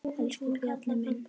Elsku Bjarni minn.